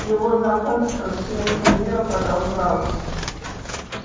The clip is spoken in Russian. его знакомство с внешним миром продолжалось